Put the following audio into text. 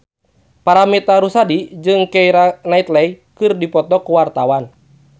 Paramitha Rusady jeung Keira Knightley keur dipoto ku wartawan